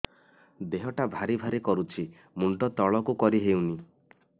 ଦେହଟା ଭାରି ଭାରି କରୁଛି ମୁଣ୍ଡ ତଳକୁ କରି ହେଉନି